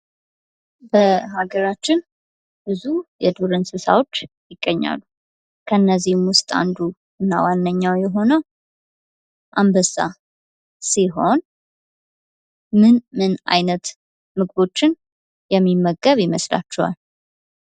በሀገራችን ብዙ የዱር እንስሳዎች ይገኛሉ ። ከነዚህም ውስጥ አንዱ እና ዋነኛው የሆነው አንበሳ ሲሆን ምን ምን አይነት ምግቦችን የሚመገብ ይመስላችኋል ?